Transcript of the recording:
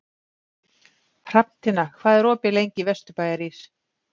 Hrafntinna, hvað er opið lengi í Vesturbæjarís?